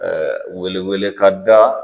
Ɛɛ weleweleka da